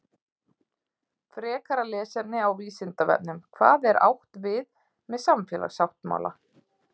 Frekara lesefni á Vísindavefnum Hvað er átt við með samfélagssáttmála?